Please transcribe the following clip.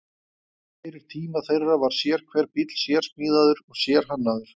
Fyrir tíma þeirra var sérhver bíll sérsmíðaður og sérhannaður.